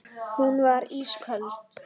Hún var ísköld.